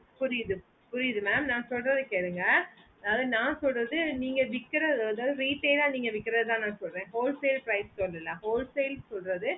புரிந்து புரிந்து mam ந சொல்லறதா கேளுங்க அதாவது ந சொல்லறது நீங்க விக்கிற rate ஆஹ் தான் நீங்க விக்குறத நா சொல்லற whole sale prize சொல்லல whole sale சொல்லறது